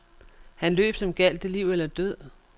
Han løb, som gjaldt det liv eller død.